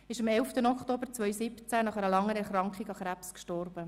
Er ist am 11. Oktober 2017 nach einer lange andauernden Krebserkrankung verstorben.